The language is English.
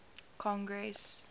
congress